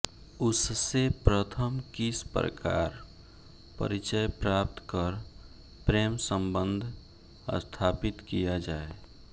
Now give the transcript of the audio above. उससे प्रथम किस प्रकार परिचय प्राप्त कर प्रेमसम्बन्ध स्थापित किया जाए